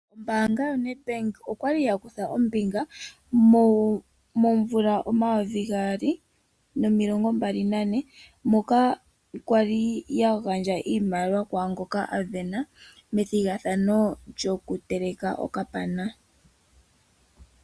Ombaanga yoNet Bank okwali ya kutha ombinga momvula omayovi gaali nomilongo mbali nane moka okwali yagandje iimaliwa kwaa ngoka a sindana methigathano lyokuteleka onyama ndjoka ya yothwa haku tiwa Okapana.